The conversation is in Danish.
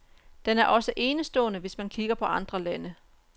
Den er også enestående, hvis man kigger på andre lande.